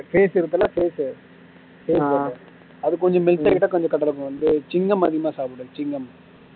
பேசுறது எல்லாம் பேசு save பண்றேன் அதுக்கு கொஞ்சம் சுவீங்கம் அதிகமாக சாப்பிடுவன் சுவீங்கம்